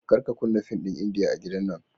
Kar ka kunnan fin ɗin India a gidan nan.